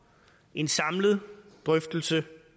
en samlet drøftelse